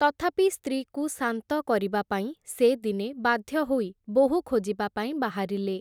ତଥାପି ସ୍ତ୍ରୀକୁ ଶାନ୍ତ କରିବାପାଇଁ, ସେ ଦିନେ ବାଧ୍ୟ ହୋଇ ବୋହୂ ଖୋଜିବା ପାଇଁ ବାହାରିଲେ ।